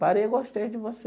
Parei e gostei de você.